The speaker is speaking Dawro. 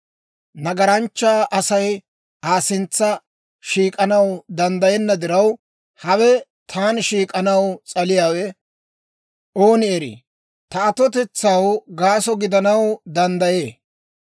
Nagaranchcha Asay Aa sintsa shiik'anaw danddayenna diraw; hawe taani shiik'anaw s'aliyaawe, ooni erii, ta atotetsaw gaaso gidanaw danddayee.